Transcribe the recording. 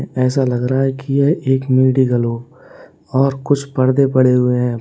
ऐसा लग रहा है कि यह एक मेडिकल हो और कुछ पर्दे पड़े हुए हैं।